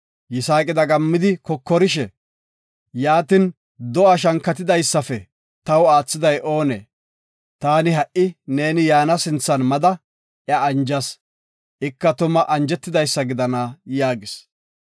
Yisaaqi dagammidi kokorishe, “Yaatin do7a shankatidaysafe taw aathiday oonee? Taani ha7i neeni yaana sinthan mada, iya anjas. Ika tuma anjetidaysa gidana” yaagis.